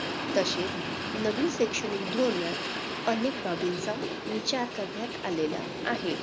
तसेच नवीन शैक्षणिक धोरणात अनेक बाबींचा विचार करण्यात आलेला आहे.